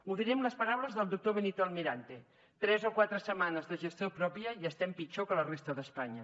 ho diré amb les paraules del doctor benito almirante tres o quatre setmanes de gestió pròpia i estem pitjor que la resta d’espanya